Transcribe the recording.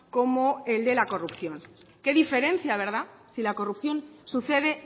como el de la corrupción qué diferencia verdad si la corrupción sucede